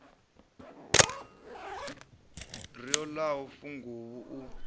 ri o ḽaho funguvhu u